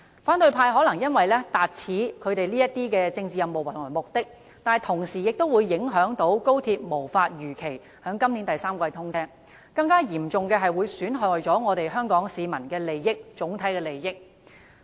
反對派可能因此達到他們的政治任務和目的，但同時會影響高鐵無法如期在今年第三季通車；更嚴重的是，此舉會損害香港市民的整體利益。